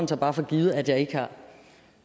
tager for givet at jeg ikke har